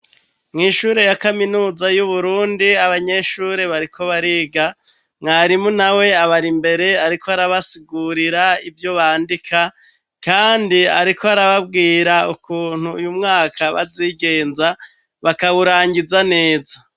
mw' ishure ya kaminuza y'uburundi abanyeshuri bariko bariga mwarimu nawe abari mbere ariko arabasigurira ivyo bandika kandi ariko arababwira ukuntu uyu mwaka bazigenza bakawurangiza neza